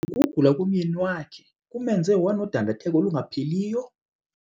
Ukugula komyeni wakhe kumenze wanodandatheko olungapheliyo?